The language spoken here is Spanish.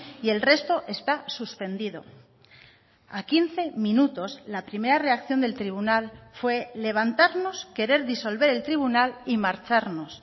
y el resto está suspendido a quince minutos la primera reacción del tribunal fue levantarnos querer disolver el tribunal y marcharnos